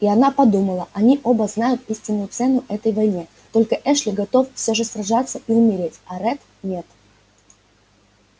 и она подумала они оба знают истинную цену этой войне только эшли готов все же сражаться и умереть а ретт нет